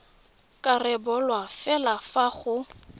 ka rebolwa fela fa go